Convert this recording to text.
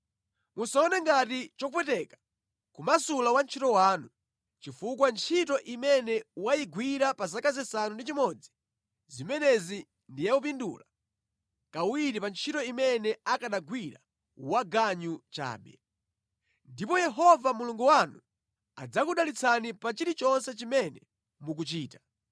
Musaone ngati chopweteka kumasula wantchito wanu, chifukwa ntchito imene wayigwira pa zaka zisanu ndi chimodzi zimenezi ndi yopindula kawiri pa ntchito imene akanagwira waganyu chabe. Ndipo Yehova Mulungu wanu adzakudalitsani pa chilichonse chimene mukuchita.